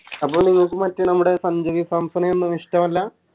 അപ്പൊ നിനക്ക് മറ്റേ നമ്മുടെ സഞ്ചുനെ സാംസണെയൊന്നും ഇഷ്ട്ടമല്ല